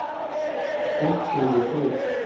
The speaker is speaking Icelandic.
Fólk er við þig